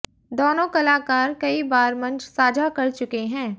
दोनों कलाकार कई बार मंच साझा कर चुके हैं